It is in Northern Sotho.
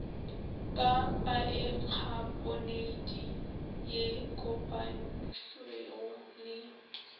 ka paekhaponeiti ye kopantšwego le